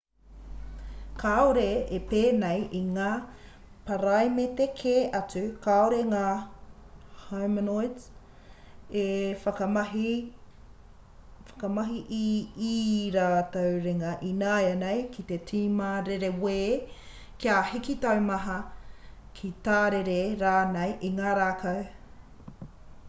kāore e pēnei i ngā paraimete kē atu kāore ngā homonids e whakamahi i ī rātou ringa ināianei ki te tima rerewē kia hiki taumaha ki tārere rānei i ngā rākau